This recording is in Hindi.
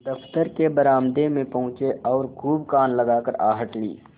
दफ्तर के बरामदे में पहुँचे और खूब कान लगाकर आहट ली